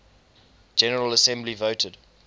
general assembly voted